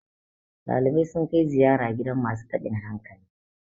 dalibai sun kai ziyara gidan masu tabin hankali